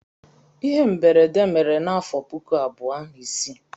Ihe mberede mere m n'afọ puku abụọ na isii.